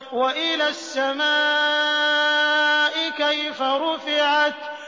وَإِلَى السَّمَاءِ كَيْفَ رُفِعَتْ